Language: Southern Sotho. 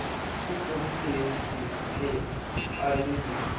o entseng se sekaale ha